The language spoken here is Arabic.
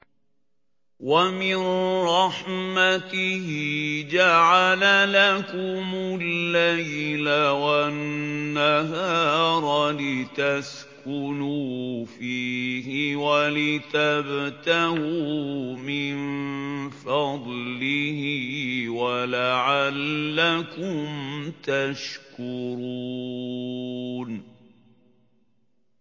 وَمِن رَّحْمَتِهِ جَعَلَ لَكُمُ اللَّيْلَ وَالنَّهَارَ لِتَسْكُنُوا فِيهِ وَلِتَبْتَغُوا مِن فَضْلِهِ وَلَعَلَّكُمْ تَشْكُرُونَ